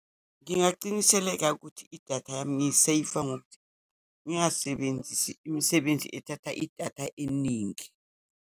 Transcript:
Ngingaqiniseleka ukuthi idatha yami ngiyiseyiva ngokuthi ngingasebenzisi imisebenzi ethatha idatha eningi.